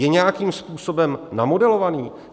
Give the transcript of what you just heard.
Je nějakým způsobem namodelovaný?